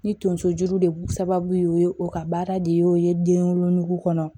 Ni tonso juru de b'u sababu ye o ka baara de y'o ye den wolonugu kɔnɔ